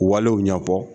Walew ɲɛfɔ